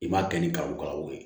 I m'a kɛ ni kariw ka wo ye